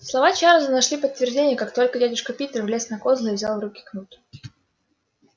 слова чарлза нашли подтверждение как только дядюшка питер влез на козлы и взял в руки кнут